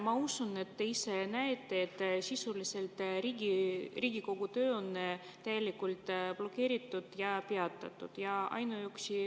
Ma usun, et te ise näete, et sisuliselt on Riigikogu töö on blokeeritud ja peatatud.